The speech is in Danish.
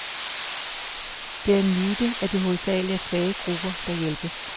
Det er en myte, at det hovedsageligt er svage grupper, der hjælpes.